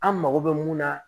An mago bɛ mun na